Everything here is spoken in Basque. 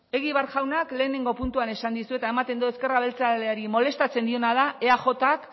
egibar jauna lehenengo puntuan esan dizuet eta ematen du ezker abertzaleari molestatzen diena da eajk